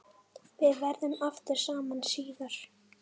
Við verðum aftur saman síðar.